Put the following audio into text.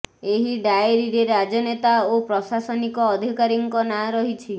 ଏହି ଡାଏରୀରେ ରାଜନେତା ଓ ପ୍ରଶାସନିକ ଅଧିକାରୀଙ୍କ ନାଁ ରହିଛି